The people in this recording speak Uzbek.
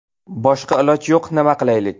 Boshqa iloj yo‘q, nima qilaylik?